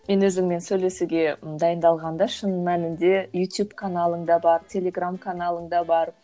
мен өзіңмен сөйлесуге ы дайындалғанда шын мәнінді ютуб каналың да бар телеграмм каналың да бар